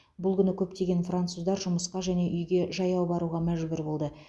бұл күні көптеген француздар жұмысқа және үйге жаяу баруға мәжбүр болды